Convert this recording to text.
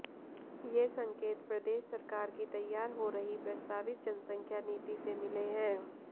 ये संकेत प्रदेश सरकार की तैयार हो रही प्रस्तावित जनसंख्या नीति से मिले हैं